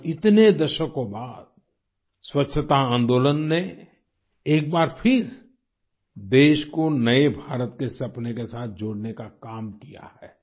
आज इतने दशकों बाद स्वच्छता आन्दोलन ने एक बार फिर देश को नए भारत के सपने के साथ जोड़ने का काम किया है